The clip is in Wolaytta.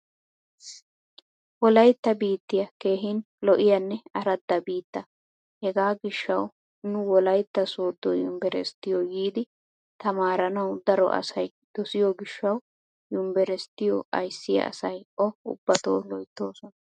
Wolaytta biittiya keehin lo'iyanne aradda biitta. Hegaa gishshawu nu wolaytta sooddo yumbberesttiyo yiidi tamaaranawu daro asay dosiyo gishshawu yumbberesttiyo ayssiya asay o ubbato loyttoosona.